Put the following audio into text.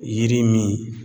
Yiri min